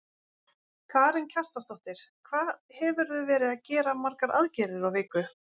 Karen Kjartansdóttir: Hvað hefurðu verið að gera margar aðgerðir á viku?